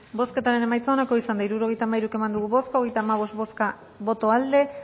bozketaren emaitza onako izan da hirurogeita hamairu eman dugu bozka hogeita hamabost boto aldekoa